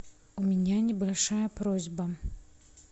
у меня небольшая просьба